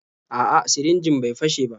A'a, sirinjin bai fashe ba.